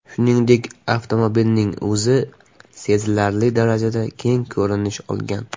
Shuningdek, avtomobilning o‘zi sezilarli darajada keng ko‘rinish olgan.